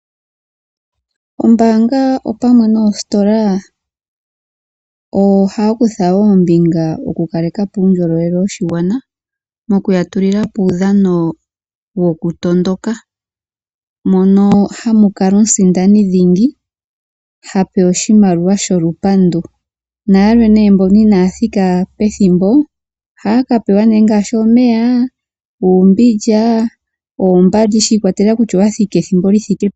Oombanga opamwe noostola ohaya kutha ombinga moku kalekapo uundjolowele woshigwana, moka ya tulilapo uudhano wokundondoka, mono hamu kala omusindani dhingi, ha pewa oshimaliwa sho lupandu, nayalwe ne mboka inaya thika pethimbo, ohaya ka pewa ne omeya, uumbindja, oombandi shi ikwatelela kutya owa thika ethimbo li thike peni.